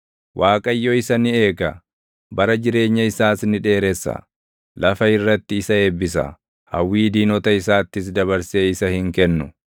Waaqayyo isa ni eega; bara jireenya isaas ni dheeressa; lafa irratti isa eebbisa; hawwii diinota isaattis dabarsee isa hin kennu.